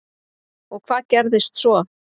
Og hvað gerðist svo?